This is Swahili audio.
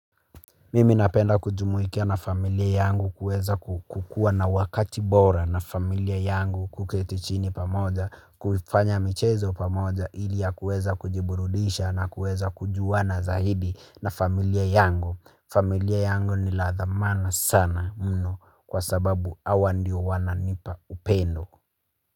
Mimi napenda kujumuika na familia yangu kuweza kukua na wakati bora na familia yangu kuketi chini pamoja kufanya michezo pamoja ili ya kuweza kujiburudisha na kuweza kujuwana zaidi na familia yangu. Familia yangu ni la thamana sana mno kwa sababu awa ndio wananipa upendo.